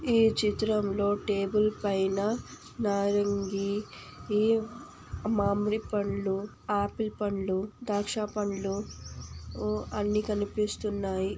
ఈ చిత్రంలో టేబుల్ పైన నారింగి ఈ మామిడిపండ్లు ఆపిల్ పండ్లు ద్రాక్ష పండ్లు ఉ అన్ని కనిపిస్తున్నాయి.